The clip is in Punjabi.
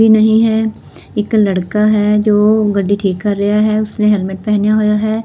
ਨਹੀਂ ਹੈ ਇੱਕ ਲੜਕਾ ਹੈ ਜੋ ਗੱਡੀ ਠੀਕ ਕਰ ਰਿਹਾ ਹੈ ਉਸਨੇ ਹੈਲਮੇਟ ਪਹਿਨਿਆ ਹੋਇਆ ਹੈ।